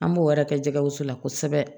An b'o wɛrɛ kɛ jɛgɛgɛw la kosɛbɛ